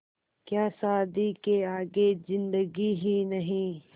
क्या शादी के आगे ज़िन्दगी ही नहीं